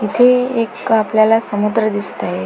इथे एक आपल्याला समुद्र दिसतय.